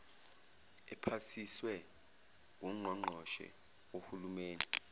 ephasiswe wungqongqoshe wohulumeni